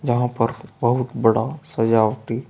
यहां पर बहुत बड़ा सजावटी--